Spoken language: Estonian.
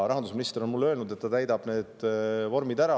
Rahandusminister on mulle öelnud, et ta täidab need vormid ära.